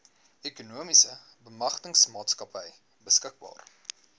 ekonomiese bemagtigingsmaatskappy beskikbaar